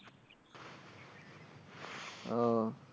ও,